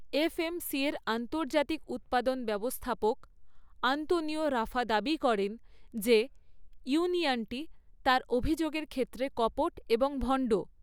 এফএমসির আন্তর্জাতিক উৎপাদন ব্যবস্থাপক আন্তোনিও রাফা দাবি করেন যে ইউনিয়নটি তার অভিযোগের ক্ষেত্রে কপট এবং ভণ্ড।